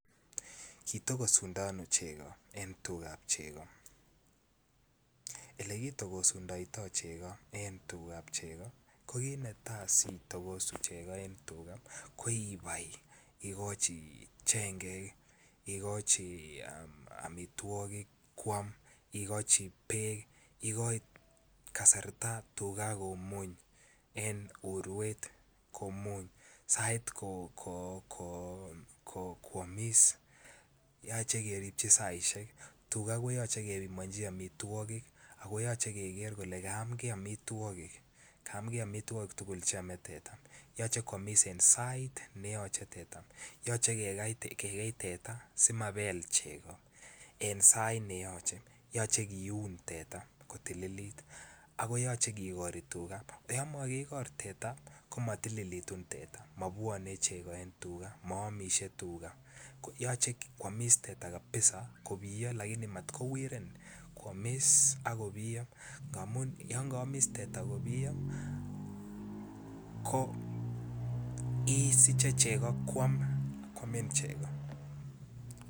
Kitogosundo ano chego en tugab chego Ole kitogosundo chego en tugab chego ko kit netai nekiyoe asi itogosu chego ko ibai igochi chengek igochi amitwogik koam igochi bek igochi tuga kasarta komuny en urwet ak igochi sait koamis yoche keripchi saisiek tuga koyoche kebimonji amitwogik ako yoche keger kele kayamgei amitwogik tugul Che ame teta yoche koamis en sait ne yome yoche kegei teta en sait asi komabel chego yoche kiun teta kotililt ako yoche kigor teta olon mo kigor teta komatilitu teta mobwone chego en teta ako maamisie tuga yoche koamis teta kabisa kobiyo lakini mat kowiren koamis ak kobiyo amun oloon kiomis teta kobiyo isiche chego koamin chego